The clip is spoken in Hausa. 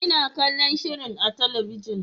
Ina kallon shirin a talabijin.